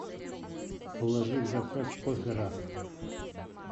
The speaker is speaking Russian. положи в заказ кофе раф